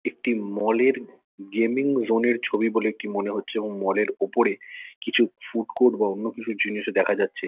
একটি মল -এর gaming zone -এর ছবি বলে এটি মনে হচ্ছে এবং মল -এর ওপরে কিছু ফুড কুড বা অন্য কিছু জিনিসও দেখা যাচ্ছে।